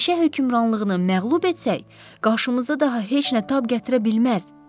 Meşə hökmranlığını məğlub etsək, qarşımızda daha heç nə tab gətirə bilməz.